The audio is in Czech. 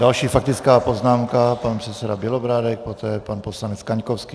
Další faktická poznámka, pan předseda Bělobrádek, poté pan poslanec Kaňkovský.